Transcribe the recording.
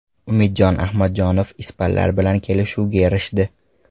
Umid Ahmadjonov ispanlar bilan kelishuvga erishdi.